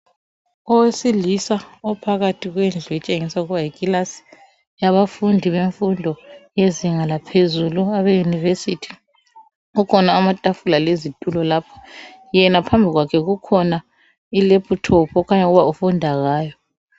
Owesilisa ophakathi kwendlu etshengisa ukuba yikilasi yabafundi bemfundo yezinga laphezulu abeyunivesithi kukhona amatafula lezitulo lapho yena phambi kwakhe kukhona ilaphithophu okukhanya ukuba ufunda ngayo.